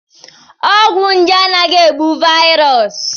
Ọgwụ nje anaghị egbu vaịrọs.